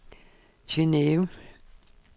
Geneve